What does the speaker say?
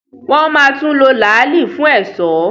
wọ́n máa tún lo “ làálì” fún ẹ̀sọ́.